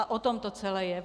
A o tom to celé je.